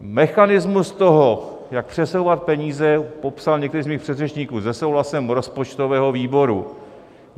Mechanismus toho, jak přesouvat peníze, popsal některý z mých předřečníků - se souhlasem rozpočtového výboru.